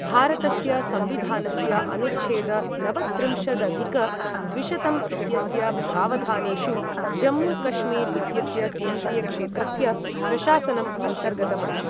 भारतस्य संविधानस्य अनुच्छेद नवत्रिंशदधिक द्विशतं इत्यस्य प्रावधानेषु, जम्मू कश्मीर् इत्यस्य केन्द्रीयक्षेत्रस्य प्रशासनम् अन्तर्गतम् अस्ति।